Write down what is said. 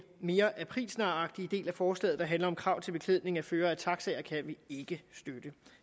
mere aprilsnaragtige del af forslaget der handler om krav til beklædning af førere af taxier kan vi ikke støtte